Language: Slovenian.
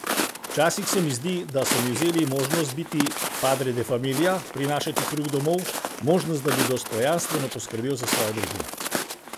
Včasih se mi zdi, da so mi vzeli možnost biti padre de familia, prinašati kruh domov, možnost, da bi dostojanstveno poskrbel za svojo družino.